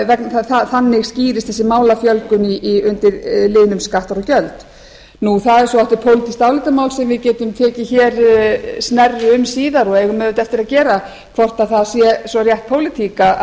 vegna þess að þannig skýrist þessi málafjölgun undir liðnum skattar og gjöld en það er svo aftur pólitískt álitamál sem við getum tekið hér snerru um síðar og eigum auðvitað eftir að gera hvort það sé svo rétt pólitík